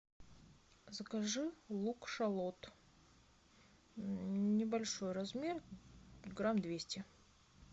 закажи лук шалот небольшой размер грамм двести